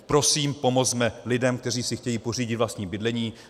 Prosím, pomozme lidem, kteří si chtějí pořídit vlastní bydlení.